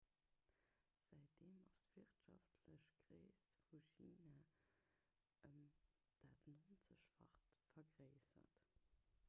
säitdeem ass d'wirtschaftlech gréisst vu china ëm dat 90-facht vergréissert